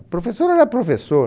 O professor era professor.